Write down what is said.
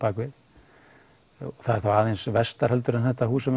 það er þá aðeins vestar en þetta hús sem